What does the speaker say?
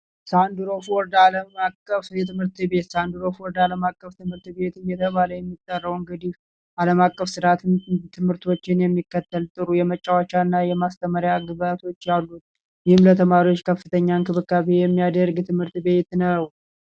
የሳንድራፎልድ ዓለም አቀፍ ትምህርት ቤት የሳንድራፎልድ አለም አቀፍ ትምህርት ቤት እየተባለ የሚጠራ አለማቀፍ ስርዓት ትምህርቶችን የሚከተል ጥሩ የመጫወቻ እና የማስተማሪያ ግብዓቶች ያሉት ይህም ለተማሪዎች ከፍተኛ እንክብካቤ የሚያደርግ እንዲሁም ትምህርት ቤት ነው።